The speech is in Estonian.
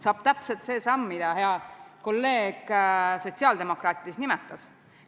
Saab täpselt see samm, mida hea sotsiaaldemokraadist kolleeg nimetas.